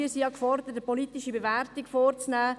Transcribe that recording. Wir sind ja gefordert, eine politische Wertung vorzunehmen.